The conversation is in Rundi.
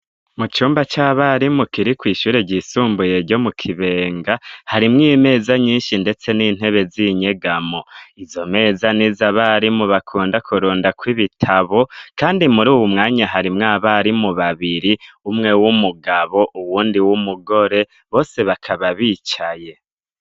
Mu cumba c'abarimu kiri kw'ishure ryisumbuye ryo mu Kibenga harimwo imeza nyinshi ndetse n'intebe z'inyegamo, izo meza nizo abarimu bakunda kurundako ibitabo, kandi muri uwu mwanya harimwo abarimu babiri umwe w'umugabo uwundi w'umugore, bose bakaba bicaye.